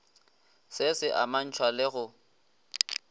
se se amantšhwa le go